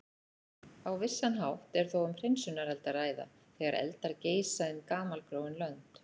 Á vissan hátt er þó um hreinsunareld að ræða, þegar eldar geisa um gamalgróin lönd.